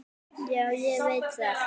Já, ég veit það